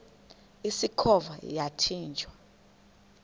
usikhova yathinjw a